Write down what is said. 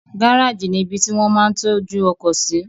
Gáràjì ni ibi tí wón máa ń tọ́jú ọkọ̀ sí